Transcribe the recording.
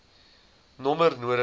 nommer nodig hê